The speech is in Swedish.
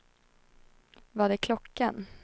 Vad är klockan